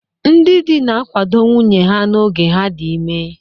Ndị di na-akwado nwunye ha n'oge ha dị ime.